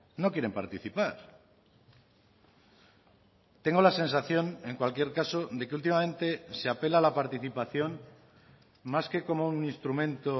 no quieren participar tengo la sensación en cualquier caso de que últimamente se apela a la participación más que como un instrumento